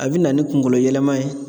A bi na ni kunkolo yɛlɛma ye